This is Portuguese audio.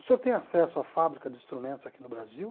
O senhor tem acesso à fábrica de instrumentos aqui no Brasil?